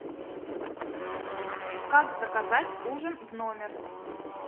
как заказать ужин в номер